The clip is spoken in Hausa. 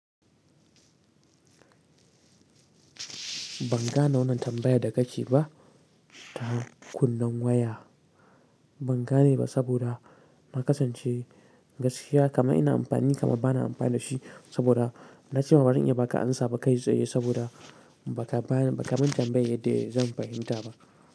Ban gane wannan tambayar da ka ke ba. Ta kunnen waya ban gane ba saboda na kasance gaskiya kamar ina amfani kamar ba na amfani da shi saboda na ce wa barin iya baka ansa ba kai tsaye saboda baka bani ba ka mun tambayar yanda zan fahimta ba.